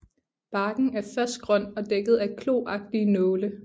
Barken er først grøn og dækket af kloagtige nåle